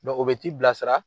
o be ti bila sira